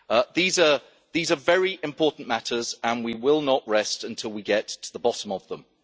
These are very important matters and we will not rest until we get to the bottom of them.